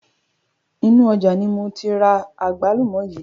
Inu ọjà ni moti ra àgbálùmọ̀ yii